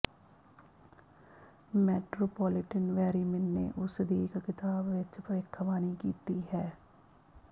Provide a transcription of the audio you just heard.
metropolitan ਵੈਰੀਮਿਨ ਨੇ ਉਸਦੀ ਇੱਕ ਕਿਤਾਬ ਵਿੱਚ ਭਵਿੱਖਬਾਣੀ ਕੀਤੀ ਹੈ